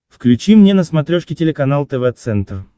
включи мне на смотрешке телеканал тв центр